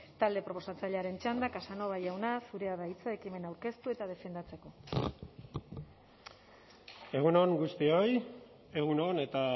talde proposatzailearen txanda casanova jauna zurea da hitza ekimena aurkeztu eta defendatzeko egun on guztioi egun on eta